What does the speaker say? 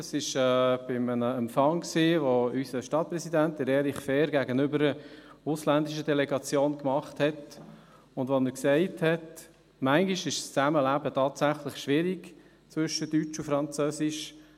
Das war bei einem Empfang, den unser Stadtpräsident Erich Fehr gegenüber einer ausländischen Delegation abhielt und bei dem er sagte: «Manchmal ist das Zusammenleben tatsächlich schwierig zwischen deutsch und französisch.